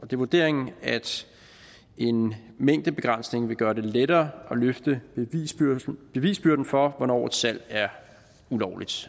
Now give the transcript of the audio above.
det vurderingen at en mængdebegrænsning vil gøre det lettere at løfte bevisbyrden for hvornår et salg er ulovligt